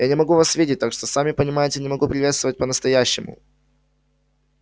я не могу вас видеть так что сами понимаете не могу приветствовать по-настоящему